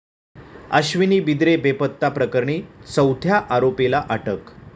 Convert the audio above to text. अश्विनी बिद्रे बेपत्ता प्रकरणी चौथ्या आरोपीला अटक